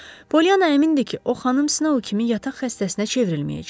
Polianna əmindir ki, o xanım Snov kimi yataq xəstəsinə çevrilməyəcək.